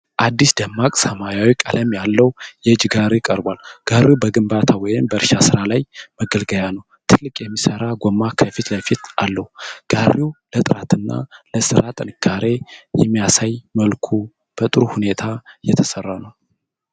አዲስና ደማቅ ሰማያዊ ቀለም ያለው የእጅ ጋሪ ቀርቧል። ጋሪው በግንባታ ወይም በእርሻ ስራ ላይ መገልገያ ነው። ትልቅ የሚሠራ ጎማ ከፊት ለፊት አለው። ጋሪው ለጥራትና ለስራ ጥንካሬ በሚያሳይ መልኩ በጥሩ ሁኔታ የተሰራ ነው።